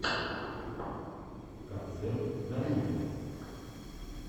концерт даруллина